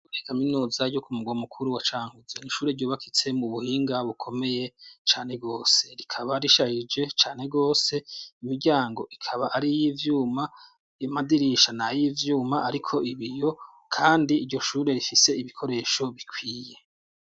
Kaminuza yo ku mugwa mukuru wa Cankuzo, n'ishure ryubakitse mu buhinga bukomeye cane gose, rikaba risharije cane gose, imiryango ikaba ari iy'ivyuma, amadirisha n'ayivyuma hariko ibiyo, kandi iryo shure rifise ibikoresho bikwiye.